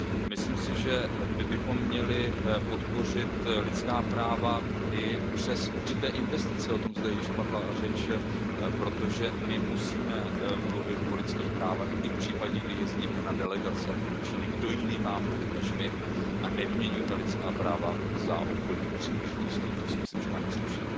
Myslím si, že my bychom měli podpořit lidská práva i přes určité investice, o tom zde již byla řeč, protože my musíme mluvit o lidských právech i v případě, kdy jezdíme na delegace do Číny. Kdo jiný má mluvit než my a nevyměňujme lidská práva za obchodní příležitosti, to si myslím, že nám nesluší.